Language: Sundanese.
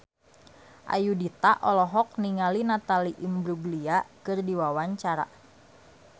Ayudhita olohok ningali Natalie Imbruglia keur diwawancara